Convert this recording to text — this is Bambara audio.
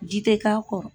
Ji tɛ k'a kɔrɔ